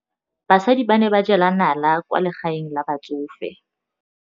Basadi ba ne ba jela nala kwaa legaeng la batsofe.